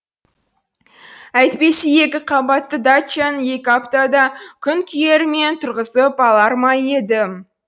әйтпесе екі қабатты дачаны екі аптада күнкүйерімен тұрғызып алар ма едім